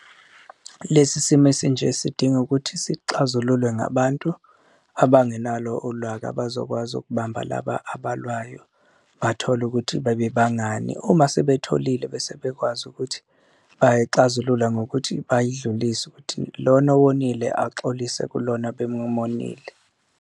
Lesi simo esinje sidinga ukuthi sixazululwe ngabantu abangenalo olwaka abazokwazi ukubamba laba abalwayo bathole ukuthi bebebangani, uma sebetholile bese bekwazi ukuthi bayixazulula ngokuthi bayidlulise ukuthi lona owonile axolise kulona bemumonile.